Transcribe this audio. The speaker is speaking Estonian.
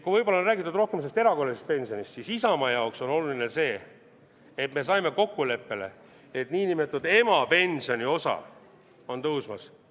Kui võib-olla on räägitud rohkem sellest erakorralisest pensionist, siis Isamaa jaoks on oluline see, et me saime kokkuleppele, et nn emapensioni osa on tõusmas.